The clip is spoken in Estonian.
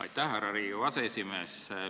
Aitäh, härra Riigikogu aseesimees!